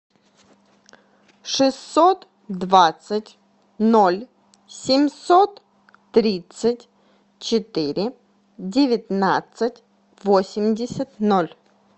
шестьсот двадцать ноль семьсот тридцать четыре девятнадцать восемьдесят ноль